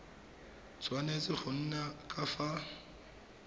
tshwanetse go nna ka fa